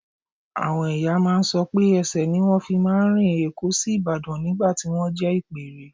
Àwọn ìyá máa ń sọ pé ẹsẹ̀ ni wọ́n fi máa ń rin Èkó sÍbàdàn nígbà tí wọ́n jẹ́ ìpẹ́ẹ́rẹ́